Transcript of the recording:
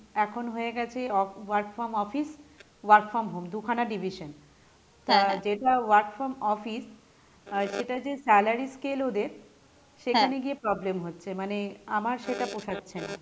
এখন হয়ে গেছে work from office, work from home দুখানা division, তা যেটা work from office আহ সেটা যে salary scale ওদের সেখানে গিয়ে problem হচ্ছে মানে আমার সেটা পোসাচ্ছে না,